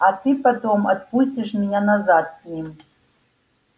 а ты потом отпустишь меня назад к ним